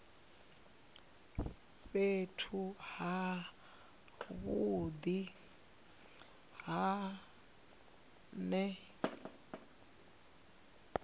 fhethu ha vhudi hu ne